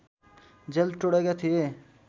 jail तोडेका थिए